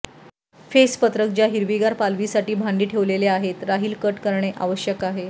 face पत्रक ज्या हिरवीगार पालवी साठी भांडी ठेवलेल्या आहेत राहील कट करणे आवश्यक आहे